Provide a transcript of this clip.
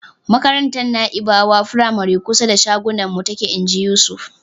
"Makarantar Na'ibawa firamare kusa da shagonmu take." Inji Yusuf.